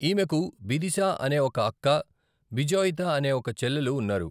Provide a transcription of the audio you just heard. ఈమెకు బిదిశా అనే ఒక అక్క, బిజోయితా అనే ఒక చెల్లెలు ఉన్నారు.